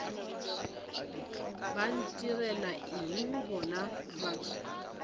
ba ntirela eng bona batho